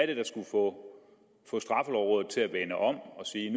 det der skulle få straffelovrådet til at vende om og sige